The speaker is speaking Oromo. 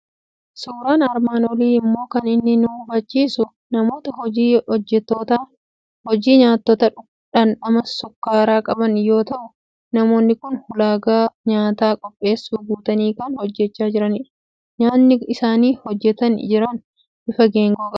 Suuraan armaan olii immoo kan inni nu hubachiisu namoota hojii nyaatota dhamdhama sukkaaraa qaban yoo ta'u, namoonni kun ulaagaa nyaata qopheessuu guutanii kan hojjechaa jiranidha. Nyyaatni isaan hojjetanii jiran bifa geengoo qaba.